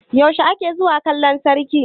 yaushe ake zuwa kallon sarki?